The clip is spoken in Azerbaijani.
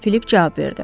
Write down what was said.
Filip cavab verdi.